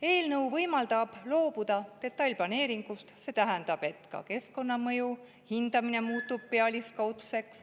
Eelnõu võimaldab loobuda detailplaneeringust, see tähendab, et ka keskkonnamõju hindamine muutub pealiskaudseks.